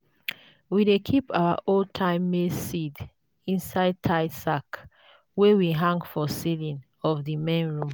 we dey keep our old-time maize seeds inside tied sack wey we hang for ceiling of the main room.